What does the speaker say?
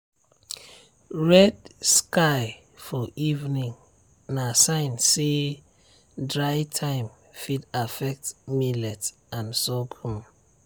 red sky for evening na sign say dry time fit affect millet and sorghum.